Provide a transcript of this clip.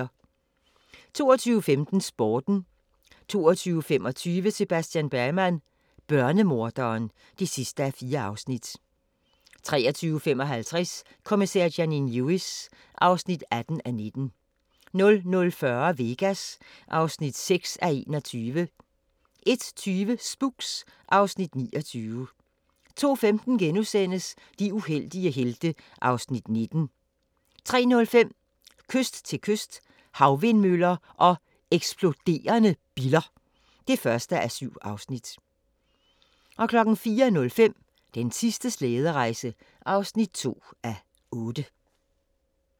22:15: Sporten 22:25: Sebastian Bergman: Børnemorderen (4:4) 23:55: Kommissær Janine Lewis (18:19) 00:40: Vegas (6:21) 01:20: Spooks (Afs. 29) 02:15: De uheldige helte (Afs. 19)* 03:05: Kyst til kyst – Havvindmøller og eksploderende biller (1:7) 04:05: Den sidste slæderejse (2:8)